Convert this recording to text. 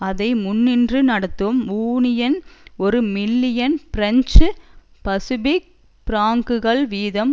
அதை முன்னின்று நடத்தும் யூனியன் ஒரு மில்லியன் பிரெஞ்சு பசிபிக் பிராங்குகள் வீதம்